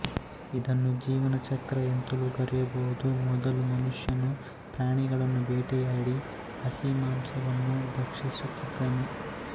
ಇದನ್ನು ಜೀವನ ಚಕ್ರ ಎಂತಲೂ ಕರೆಯಬಹುದು ಮೊದಲು ಮನುಷ್ಯನು ಪ್ರಾಣಿಗಳನ್ನು ಭೇಟೆಯಾಡಿ ಹಸಿ ಮಾಂಸವನ್ನು ಭಕ್ಷಿಸುತ್ತಿದ್ದನು